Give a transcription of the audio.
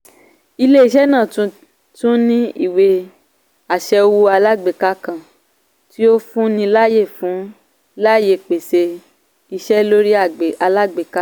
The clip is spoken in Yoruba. ilé-iṣẹ́ náà tún ní ìwé-àṣẹ owó alágbèká kan tí o fun láàyè fun láàyè pèsè iṣẹ́ lórí alágbèká.